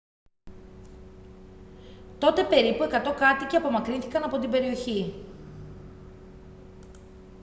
τότε περίπου 100 κάτοικοι απομακρύνθηκαν από την περιοχή